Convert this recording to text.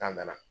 nana